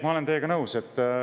Ma olen teiega nõus.